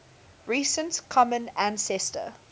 recent common ancestor